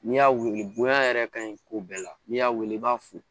N'i y'a weele bonya yɛrɛ ka ɲi ko bɛɛ la n'i y'a weele i b'a fo